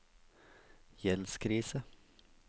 gjeldskrise